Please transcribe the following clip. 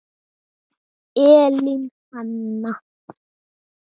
Elín Hanna.